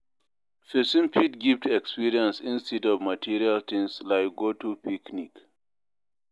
Persin fit gift experience instead of material things like to go picnic